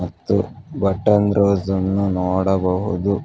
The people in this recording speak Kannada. ಮತ್ತು ಬಟನ್ ರೋಜ್ ಅನ್ನು ನೋಡಬಹುದು.